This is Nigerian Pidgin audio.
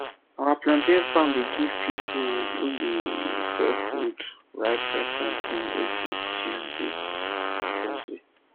our plantain farm dey give pipu wey dey sell food ripe ripe plantain everi tuesday and thursday